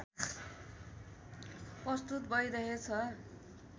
प्रस्तुत भइरहेछ